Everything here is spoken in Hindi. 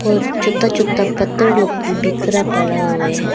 और छोटा छोटा पत्थर लोग भी बिखरा पड़ा हुए है।